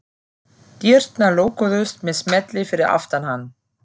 Dyrnar lokuðust með smelli fyrir aftan hann.